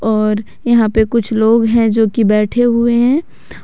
और यहां पे कुछ लोग हैं जो की बैठे हुए हैं।